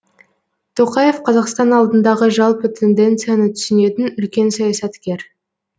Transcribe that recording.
тоқаев қазақстан алдындағы жалпы тенденцияны түсінетін үлкен саясаткер